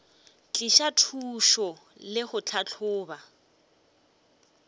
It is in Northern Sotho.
tliša thušo le go tlhahloba